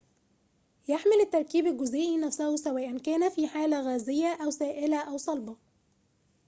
يحمل التركيب الجزيئي نفسه سواء كان في حالة غازية أو سائلة أو صلبة